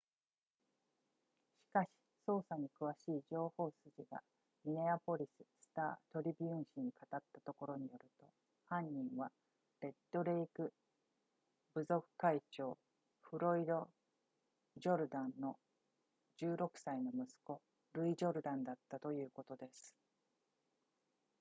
しかし捜査に詳しい情報筋がミネアポリススタートリビューン紙に語ったところによると犯人はレッドレイク部族会長フロイドジュルダンの16歳の息子ルイジュルダンだったということです